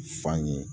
Fan ye